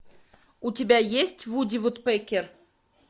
у тебя есть вуди вудпекер